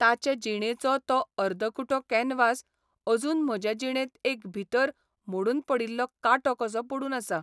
ताचे जिणेचो तो अर्दकुटो कॅनवास अजून म्हजे जिणेंत एक भितर मोडून पडिल्लो कांटो कसो पडून आसा.